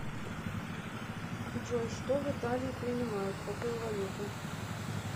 джой что в италии принимают какую валюту